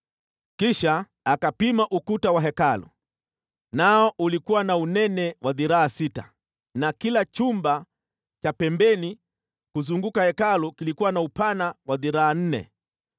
Kisha akapima ukuta wa Hekalu, nao ulikuwa na unene wa dhiraa sita, na kila chumba cha pembeni kuzunguka Hekalu kilikuwa na upana wa dhiraa nne.